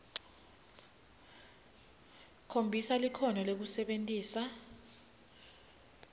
khombisa likhono lekusebentisa